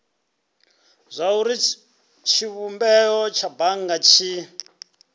zwauri tshivhumbeo tsha bannga tshi